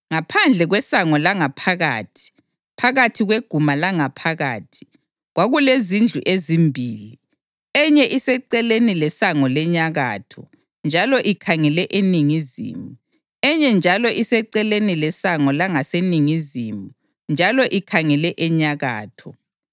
Ngaphandle kwesango langaphakathi, phakathi kweguma langaphakathi, kwakulezindlu ezimbili, enye iseceleni lesango lenyakatho njalo ikhangele eningizimu, enye njalo iseceleni lesango langaseningizimu njalo ikhangele enyakatho.